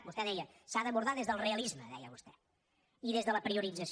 vostè deia s’ha d’abordar des del realisme deia vostè i des de la priorització